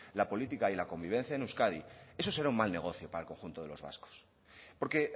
la política y la convivencia en euskadi eso será un mal negocio para el conjunto de los vascos porque